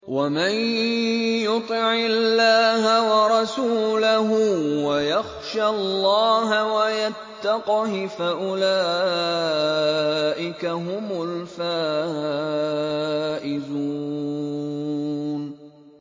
وَمَن يُطِعِ اللَّهَ وَرَسُولَهُ وَيَخْشَ اللَّهَ وَيَتَّقْهِ فَأُولَٰئِكَ هُمُ الْفَائِزُونَ